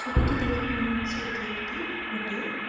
ছবিটি দেখে মনে হচ্ছে এটি একটি হোটেল ।